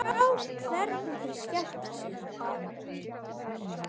Sjá hvernig þeir skemmta sér.